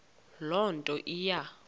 loo nto iya